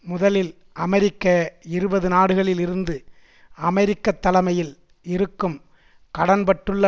முதலில் அமெரிக்க இருபது நாடுகளில் இருந்து அமெரிக்க தலமையில் இருக்கும் கடன்பட்டுள்ள